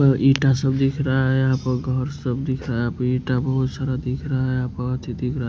ईटा सब दिख रहा है यहाँ पर घर सब दिख रहा है ईटा बोहोत सारा दिख रहा है दिख रहा है।